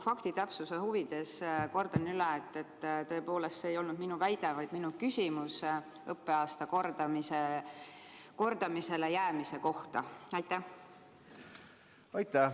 Faktitäpsuse huvides kordan üle, et tõepoolest see ei olnud minu väide, vaid minu küsimus õppeaasta kordamisele jäämise kohta.